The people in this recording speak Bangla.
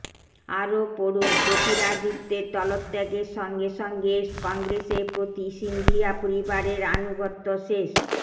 আরও পড়ুনঃ জ্যোতিরাদিত্যর দলত্যাগের সঙ্গে সঙ্গে কংগ্রেসের প্রতি সিন্ধিয়া পরিবারের আনুগত্য শেষ